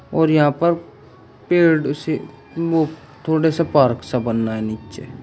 और यहां पर पेड़ से थोड़े से पार्क सा बना है नीचे।